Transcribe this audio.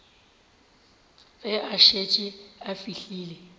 ge a šetše a fihlile